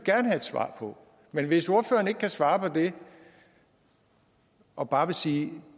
svar på men hvis ordføreren ikke kan svare på det og bare vil sige at